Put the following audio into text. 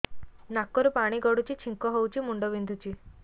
ନାକରୁ ପାଣି ଗଡୁଛି ଛିଙ୍କ ହଉଚି ମୁଣ୍ଡ ବିନ୍ଧୁଛି